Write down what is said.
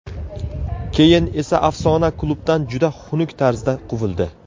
Keyin esa afsona klubdan juda xunuk tarzda quvildi.